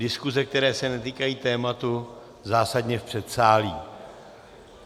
Diskuze, které se netýkají tématu, zásadně v předsálí.